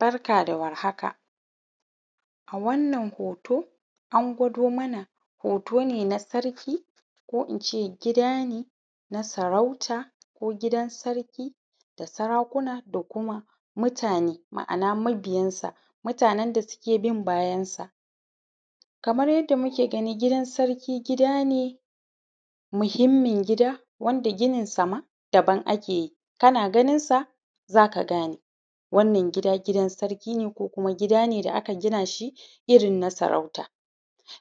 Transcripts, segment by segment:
Barka dawar haka a wannan hoto an gwado mana hotone na sarki ko ince gida ne, na sarauta ko gidan sarki da sarakuna da kuma mutane, ma’ana mabiyansa mutanen da suke bin bayansa. Kamar yadda muke gani gidan sarki gida ne mahimmin gida wanda ginin sama daban akeyi kana ganinsa zaka gane. Wannan gida gidan sarki ne ko kuma gida ne da aka ginashi irrin na sarauta.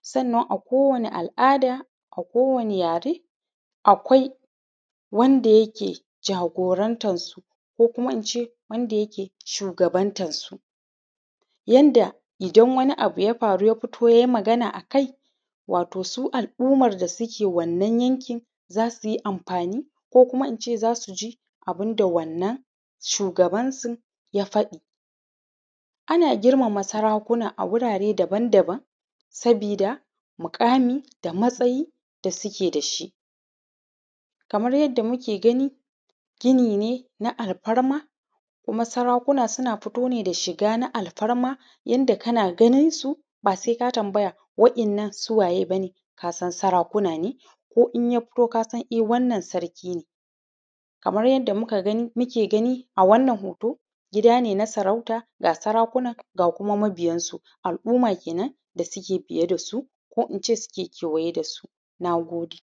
Sannan a ko wani al’ada a ko wani yare akwai wanda yake jagorantar su ko kuma ince wanda yake shugabantan su, yanda idan wani abu ya faru ya fito yayi magana a kai wato su al’umman da suke wannan yankin za suyi amfani ko kuma ince za suji abunda wannan shugabansun ya faɗi. Ana girmama sarakuna a wurare daban daban sabida muƙami da matsayi da suke dashi. Kamar yadda muke gani ginine na alfarma, kuma sarakuna suna fito ne da shiga na alfarma yanda kana ganinsu basai ka tambaya wa ‘yan’nan su waye bane? Kasan sarakuna ne, ko inya fito kasan dai wannan sarki ne. Kamar yadda mukagani muke gani a wannan hoto gida ne, na sarauta ga sarakuna ga kuma mabiyansu al’umma kenan da suke biye dasu ko kuma ince wanda suke kewaye dasu. Nagode